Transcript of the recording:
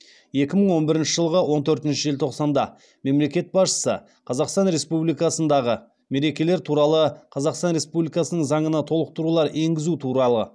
екі мың он бірінші жылғы он төртінші желтоқсанда мемлекет басшысы қазақстан республикасындағы мерекелер туралы қазақстан республикасының заңына толықтырулар енгізу туралы